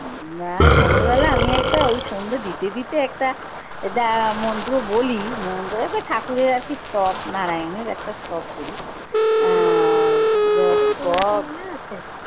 না সন্ধ্যেবেলা আমি একটা ওই দিতে দিতে একটা দা মন্ত্র বলি ঠাকুরের আরকি স্তব নারায়নের একটা স্তব বলি আহ